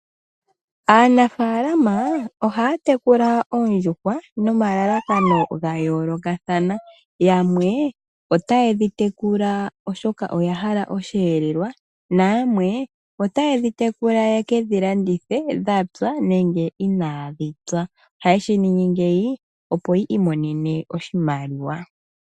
Aanafalama ohaya tekula oondjuhwa nomalalakano ga yooloka. Yamwe ita yedhi tekula oshoka oya hala osheelelwa yamwe oye kedhi landithe dhapya nenge inadhi pya. Ohaye shi ningi, opo ya mone oshimaliwa.